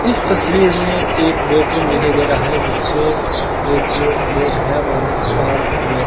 इस तस्वीर में एक बेडरूम दिखाई दे रहा है जिसके एक बैग है और अह --